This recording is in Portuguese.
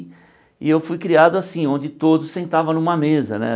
E eu fui criado assim, onde todos sentavam numa mesa, né?